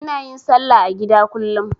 Ina yin salla a gida kullum.